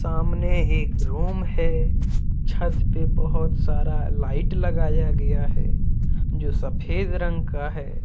सामने एक रूम है छत पे बहुत सारा लाइट लगाया गया है जो सफेद रंग का है।